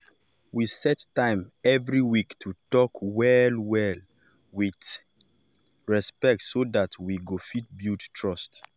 we set time every week to talk well-well with respect so that we go fit build trust.